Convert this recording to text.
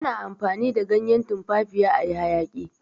ana amfani da ganyen tumfafiya a yi hayaki